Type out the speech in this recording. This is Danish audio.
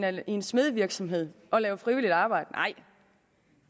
en smedevirksomhed og lave frivilligt arbejde nej